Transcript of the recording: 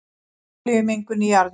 Olíumengun í jarðvegi